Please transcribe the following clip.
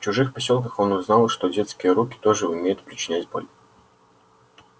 в чужих посёлках он узнал что детские руки тоже умеют причинять боль